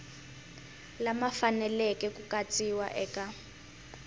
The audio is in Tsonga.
lama faneleke ku katsiwa eka